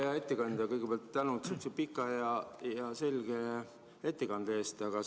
Hea ettekandja, kõigepealt tänu sihukese pika ja selge ettekande eest!